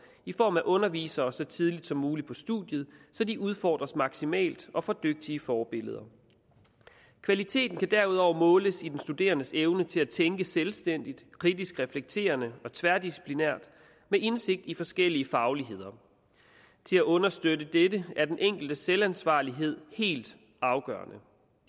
i form af undervisere så tidligt som muligt på studiet så de udfordres maksimalt og får dygtige forbilleder kvaliteten kan derudover måles i den studerendes evne til at tænke selvstændigt kritisk reflekterende og tværdisciplinært med indsigt i forskellige fagligheder til at understøtte dette er den enkeltes selvansvarlighed helt afgørende